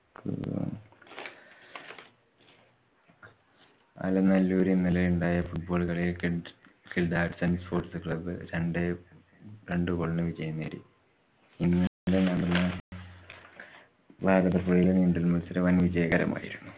ആലനല്ലോരില്‍ ഇന്നലെയുണ്ടായ football കളിയില്‍ sports club രണ്ടു goal നു വിജയം നേടി. ഇന്നലെ നടന്ന ഭാരതപ്പുഴയിലെ നീന്തല്‍ മത്സരം വന്‍ വിജയകരമായി.